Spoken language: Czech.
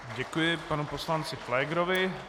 Děkuji panu poslanci Pflégerovi.